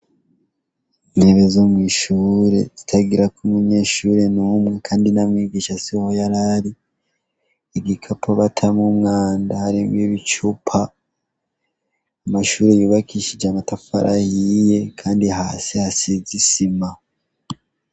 Intebe zo mw’ishure zitagirako umunyeshure numwe kandi na mwigisha siho yarari, igikapo batamwo umwanda harimwo ibicupa, amashure yubakishije amatafari ahiye kandi hasi hasize isima.